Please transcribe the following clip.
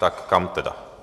Tam kam tedy?